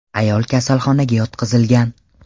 Ayol kasalxonaga yotqizilgan.